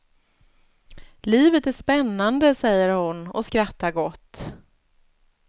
Livet är spännande, säger hon och skrattar gott.